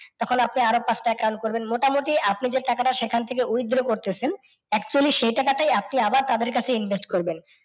তখন আপনি আর ও পাঁচটা account করবেন, মোটামুটি আপনি যে টাকাটা সেখান থেকে withdraw করতেছেন actually সেই টাকাতে আপনি আবার তাদের কাছে থেকে invest করবেন।